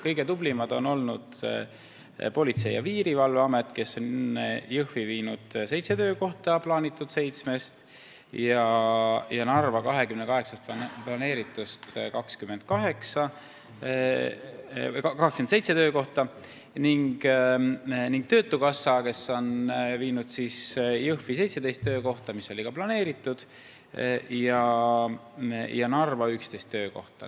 Kõige tublimad on olnud Politsei- ja Piirivalveamet, kes on Jõhvi viinud seitse töökohta plaanitud seitsmest ja Narva planeeritud 28 töökohast 27, ning töötukassa, kes on viinud Jõhvi 17 töökohta, nagu oli ka planeeritud, ja Narva 11 töökohta.